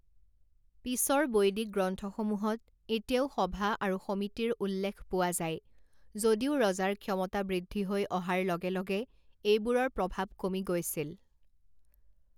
পিছৰ বৈদিক গ্ৰন্থসমূহত এতিয়াও সভা আৰু সমিতিৰ উল্লেখ পোৱা যায়, যদিও ৰজাৰ ক্ষমতা বৃদ্ধি হৈ অহাৰ লগে লগে এইবোৰৰ প্ৰভাৱ কমি গৈছিল।